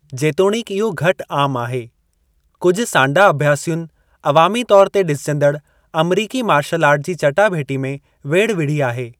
जेतोणीकि इहो घटि आमु आहे, कुझु सांडा अभ्यासियुनि अवामी तौरु ते डि॒सजंदड़ अमरीकी मार्शल आर्ट जी चटाभेटी में वेढ़ विढ़ी आहे।